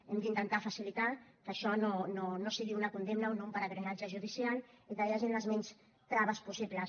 hem d’intentar facilitar que això no sigui una condemna o un pelegrinatge judicial i que hi hagin les mínimes traves possibles